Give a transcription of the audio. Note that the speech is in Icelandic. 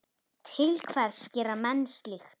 Til hvers gera menn slíkt?